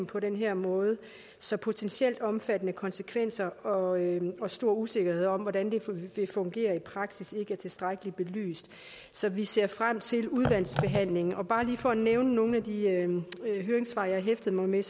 på den her måde så potentielt omfattende konsekvenser og og stor usikkerhed om hvordan de vil fungere i praksis ikke er tilstrækkeligt belyst så vi ser frem til udvalgsbehandlingen bare lige for at nævne nogle af de høringssvar jeg hæftede mig ved